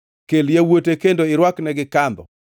Kel yawuote kendo irwaknegi kandho